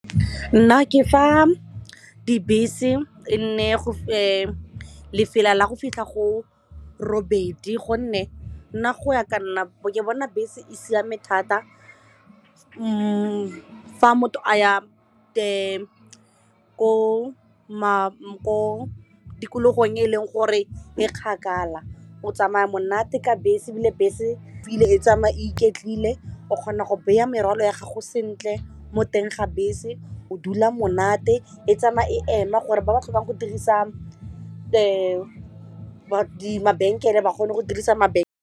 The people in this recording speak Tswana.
Nna ke fa dibese e nne lefela la go fitlha go robedi gonne nna go ya ka nna ke bona bese e siame thata fa motho a ya the ko tikologong e e leng gore e kgakala o tsamaya monate ka bese ebile bese e tsamaya iketlile o kgona go beya merwalo ya gago sentle mo teng ga bese o dula monate e tsamaya e ema gore ba ba tlhokang go dirisa mabenkele ba kgone go dirisa mabentlele.